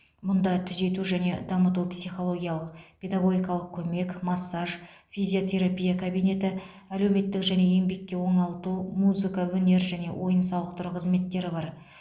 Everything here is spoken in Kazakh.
мұнда түзету және дамыту психологиялық педагогикалық көмек массаж физиотерапия кабинеті әлеуметтік және еңбекке оңалту музыка өнер және ойын сауықтыру қызметтері бар